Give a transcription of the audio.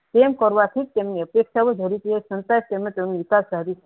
તેમ કરવાથી તેમને